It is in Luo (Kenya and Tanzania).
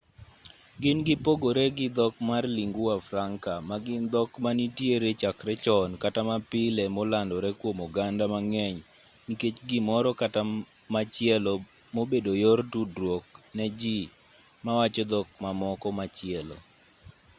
gin gipogore gi dhok mag lingua franca ma gin dhok manitiere chakre chon kata mapile molandore kwom oganda mang'eny nikech gimoro kata machielo mobedo yor tudruok ne ji mawacho dhok mamoko machielo